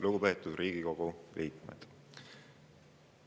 Lugupeetud Riigikogu liikmed!